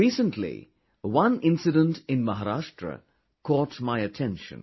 Recently, one incident in Maharashtra caught my attention